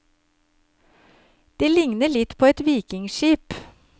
De likner litt på et vikingskip.